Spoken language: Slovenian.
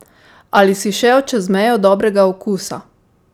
Ali si šel čez mejo dobrega okusa?